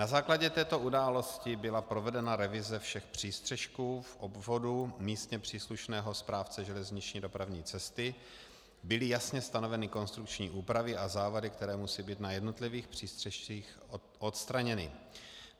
Na základě této události byla provedena revize všech přístřešků v obvodu místně příslušného správce železniční dopravní cesty, byly jasně stanoveny konstrukční úpravy a závady, které musí být na jednotlivých přístřešcích odstraněny.